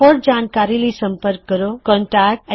ਹੋਰ ਜਾਣਕਾਰੀ ਲਈ ਸੰਪਰਕ ਕਰੋ contactspoken tutorialorg